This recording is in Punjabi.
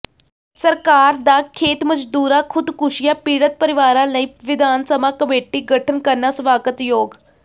ਸਰਕਾਰ ਦਾ ਖੇਤ ਮਜ਼ਦੂਰਾਂ ਖ਼ੁਦਕੁਸ਼ੀਆਂ ਪੀੜਤ ਪਰਿਵਾਰਾਂ ਲਈ ਵਿਧਾਨ ਸਭਾ ਕਮੇਟੀ ਗਠਨ ਕਰਨਾ ਸਵਾਗਤਯੋਗ